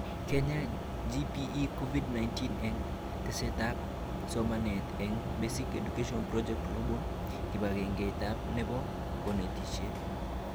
KENYA GPE COVID 19 eng tesetab somanet eng Basic Education Project Global kibagengeit nebo konetishet